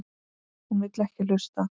Hún vill ekki hlusta.